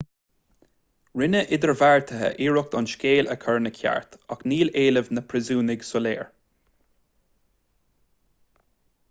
rinne idirbheartaithe iarracht an scéal a chur ina cheart ach níl éilimh na bpríosúnach soiléir